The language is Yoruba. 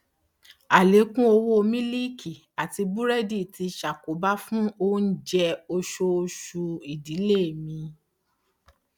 àlékún owó mílíìkì àti búrẹdì tí ṣàkóbá fún oúnjẹ oṣooṣù ìdílé mí